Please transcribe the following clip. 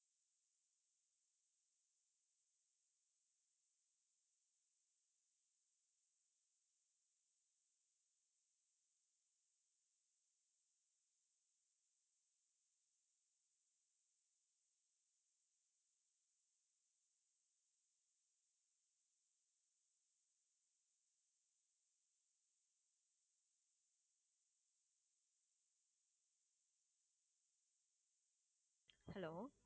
hello